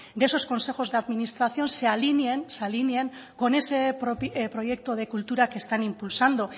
de esos consejos de administración se alineen con ese proyecto de cultura que están impulsando